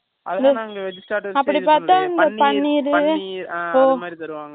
அதெல்லாம் நாங்க veg starters edhum pakalaye அப்படி பார்த்தால், பன்னீர், அது மாதிரி தருவாங்க